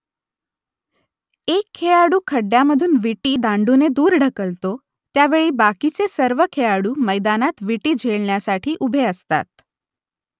एक खेळाडू खड्ड्यामधून विटी दांडूने दूर ढकलतो , त्या वेळेस बाकीचे सर्व खेळाडू मैदानात विटी झेलण्यासाठी उभे असतात